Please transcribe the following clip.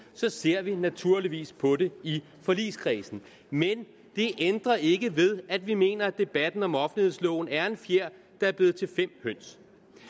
så ser vi naturligvis på det i forligskredsen men det ændrer ikke ved at vi mener at debatten om offentlighedsloven er en fjer der er blevet til fem høns